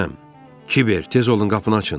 Kiver, tez olun, qapını açın!